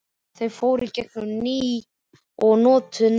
Þau fóru í gegn um ný og notuð nöfn.